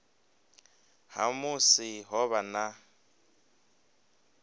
ha musi ho vha na